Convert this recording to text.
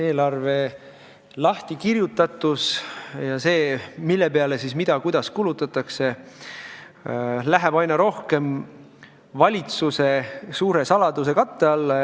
Eelarve lahtikirjutatus, see, mille peale kui palju ja kuidas kulutatakse, läheb aina rohkem valitsuse suure saladuskatte alla.